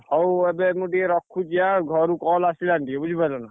ହଉ,, ଏବେ ମୁଁ ଟିକେ ରଖୁଛି, ଘରୁ call ଆସିଲାଣି ଟିକେ, ବୁଝି ପାଇଲ ନା?